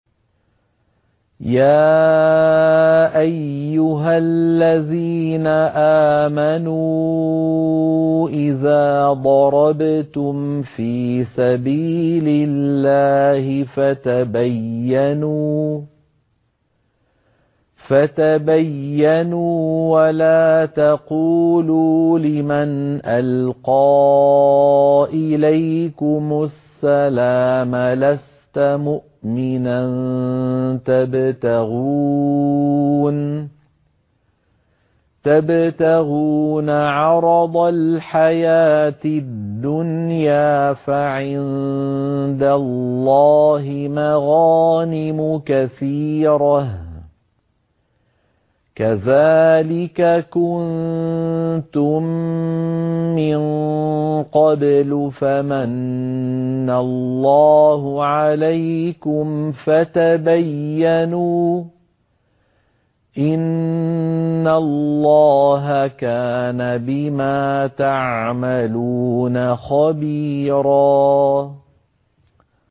يَا أَيُّهَا الَّذِينَ آمَنُوا إِذَا ضَرَبْتُمْ فِي سَبِيلِ اللَّهِ فَتَبَيَّنُوا وَلَا تَقُولُوا لِمَنْ أَلْقَىٰ إِلَيْكُمُ السَّلَامَ لَسْتَ مُؤْمِنًا تَبْتَغُونَ عَرَضَ الْحَيَاةِ الدُّنْيَا فَعِندَ اللَّهِ مَغَانِمُ كَثِيرَةٌ ۚ كَذَٰلِكَ كُنتُم مِّن قَبْلُ فَمَنَّ اللَّهُ عَلَيْكُمْ فَتَبَيَّنُوا ۚ إِنَّ اللَّهَ كَانَ بِمَا تَعْمَلُونَ خَبِيرًا